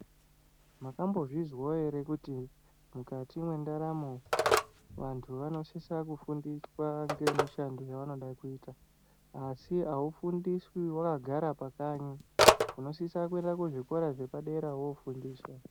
Mwakambozvizwo ere kuti mukati mwendaramo vantu vanosisa kufundiswa ngemishando yevanode kuita asi aufundiswi wakagara pakanyi, unosisa kuenda kuzvikora zvepadera wofundiswa.